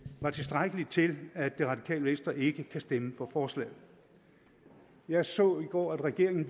er tilstrækkeligt til at det radikale venstre ikke kan stemme for forslaget jeg så i går at regeringen